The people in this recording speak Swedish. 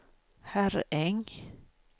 Herräng